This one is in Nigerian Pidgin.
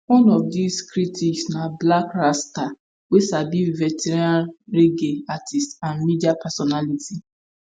one of dis critics na blakk rasta wey be veteran reggae artiste and media personality